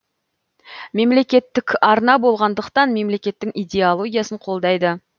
мемлекеттік арна болғаныдықтан мемлекеттің идеологиясын қолдайды